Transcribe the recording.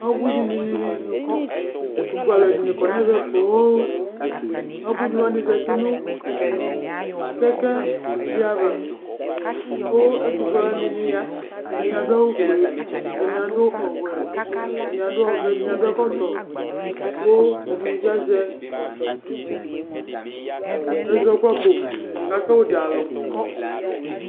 Ebuini dini nʋ ɛtʋfue alu ɛdɩnɩ kɔnʋ ɛvɛ poo Ebuini wani zǝti nʋ kɛkɛ di ava, kʋ ɛtʋfue alu wani ɛdɩnɩ ya Ɛdɩni adu awufue, ɛdɩnɩ adu ɔwɛ, ɛdɩnɩ adu ɔvɛ, ɛdɩnɩ adu ɛkɔtɔ, kʋ ɛdɩnɩ bɩ azɛ ɛzɔkpako ka sɔdza alu